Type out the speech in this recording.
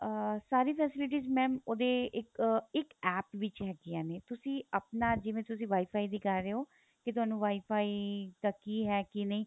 ਅਹ ਸਾਰੀ facilities mam ਉਹਦੇ ਇੱਕ ਅਹ ਇੱਕ APP ਵਿੱਚ ਹੈਗੀਆ ਨੇ ਤੁਸੀਂ ਆਪਣਾ ਜਿਵੇਂ ਤੁਸੀਂ WIFI ਦੀ ਕਰ ਰਹੇ ਹੋ ਕੀ ਤੁਹਾਨੂੰ WIFI ਦਾ ਕੀ ਹੈ ਕੀ ਨਹੀਂ